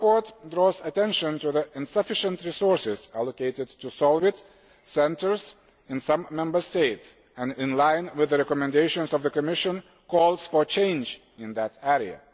Your report draws attention to the insufficient resources allocated to SOLVIT centres in some Member States and, in line with the recommendations of the Commission, calls for change in that area.